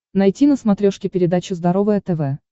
найти на смотрешке передачу здоровое тв